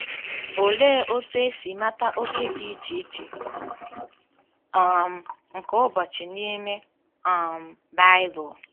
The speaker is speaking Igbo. Olee otú e si mata oge dị iche iche um nke ụbọchị n'ime um Bible?